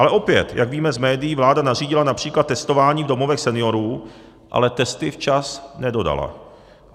Ale opět, jak víme z médií, vláda nařídila například testování v domovech seniorů, ale testy včas nedodala.